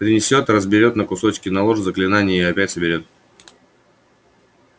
принесёт разберёт на кусочки наложит заклинание и опять соберёт